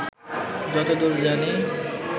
যত দূর জানি